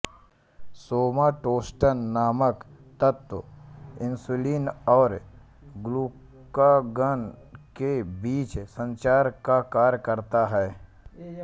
सोमाटोस्टेन नामक तत्व इंसुलिन और ग्लूकागॉन के बीच संचार का कार्य करता है